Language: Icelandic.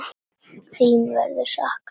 Þín verður saknað að eilífu.